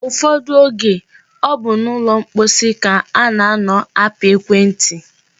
Ụfọdụ oge, ọ bụ n'ụlọ mposi ka a na-anọ apị ekwentị.